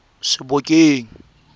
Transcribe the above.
sebokeng